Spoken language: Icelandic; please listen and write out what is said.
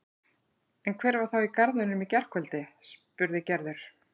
En hver var þá í garðinum í gærkvöldi? spurði Gerður.